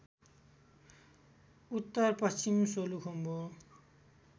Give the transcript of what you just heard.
उत्तर पश्चिम सोलुखुम्बु